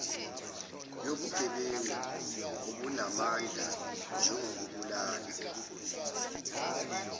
yobugebengu obunamandla njengokubulala